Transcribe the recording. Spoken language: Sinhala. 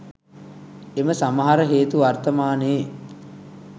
එම සමහර හේතු වර්තමානයේ